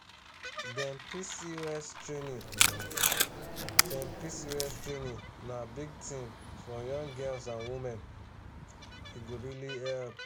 dem pcos training dem pcos training na big thing for young girls and women e go really help.